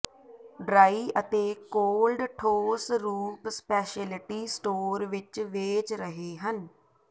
dry ਅਤੇ cold ਠੋਸ ਰੂਪ ਸਪੈਸ਼ਲਿਟੀ ਸਟੋਰ ਵਿੱਚ ਵੇਚ ਰਹੇ ਹਨ